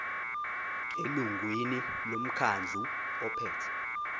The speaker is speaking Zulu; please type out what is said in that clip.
elungwini lomkhandlu ophethe